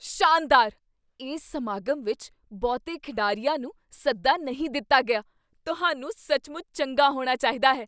ਸ਼ਾਨਦਾਰ! ਇਸ ਸਮਾਗਮ ਵਿੱਚ ਬਹੁਤੇ ਖਿਡਾਰੀਆਂ ਨੂੰ ਸੱਦਾ ਨਹੀਂ ਦਿੱਤਾ ਗਿਆ। ਤੁਹਾਨੂੰ ਸੱਚਮੁੱਚ ਚੰਗਾ ਹੋਣਾ ਚਾਹੀਦਾ ਹੈ!